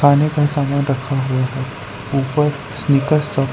खाने का सामान रखा हुआ है ऊपर स्निकर्स चॉक--